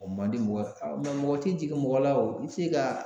O man di mɔgɔ mɛ mɔgɔ te jigin mɔgɔ la o i bi se ka